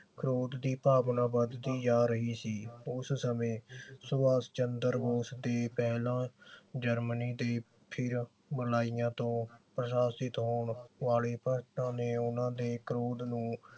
ਕ੍ਰੋਧ ਦੀ ਭਾਵਨਾ ਵਧਦੀ ਜਾ ਰਹੀ ਸੀ ਉਸ ਸਮੇਂ ਸੁਭਾਸ ਚੰਦਰ ਬੋਸ ਦੇ ਪਹਿਲਾਂ ਜਰਮਨੀ ਤੇ ਫਿਰ ਮਲਾਇਆ ਤੋਂ ਪ੍ਰਸ਼ਾਸਿਤ ਹੋਣ ਵਾਲੇ ਨੇ ਉਨ੍ਹਾਂ ਦੇ ਕ੍ਰੋਧ ਨੂੰ